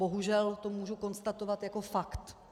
Bohužel to můžu konstatovat jako fakt.